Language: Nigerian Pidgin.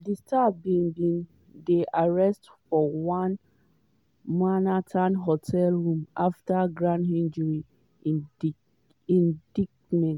di star bin bin dey arrested for one manhattan hotel room afta grand jury indictment.